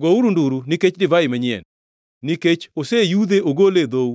gouru nduru nikech divai manyien, nikech oseyudhe ogole e dhou.